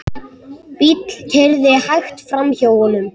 Bíll keyrði hægt framhjá honum.